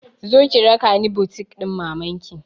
Zo ki raka ni butik ɗin maman ki!